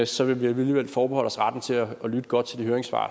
så vi vil alligevel forbeholde os retten til at lytte godt til de høringssvar